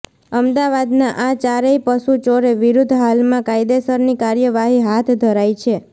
અમદાવાદના આ ચારેય પશુચોરો વિરૂધ્ધ હાલમાં કાયદેસરની કાર્યવાહી હાથ ધરાઈ છે